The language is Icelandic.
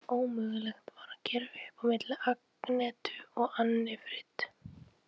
Ómögulegt var að gera upp á milli Agnetu og Annifrid.